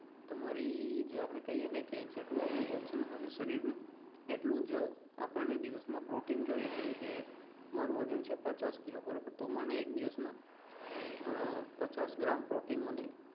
તમારી જે આપણે કહે ને કે જેટલું આપણું વજન હોય ને શરીર નું એટલું જ આપણે દિવસ માં પ્રોટીન જોઈએ જેમ કે મારુ વજન છે પચાસ કિલો બરોબર તો મને એક દિવસ માં પચાસ ગ્રામ પ્રોટીન મને